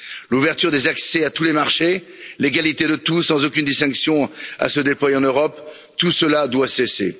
L'ouverture des accès à tous les marchés, l'égalité permettant à tous, sans aucune distinction, de se déployer en Europe tout cela doit cesser.